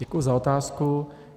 Děkuji za otázku.